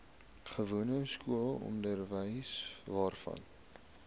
gewone skoolonderwys waarvan